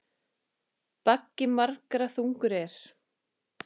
Baggi margra þungur er.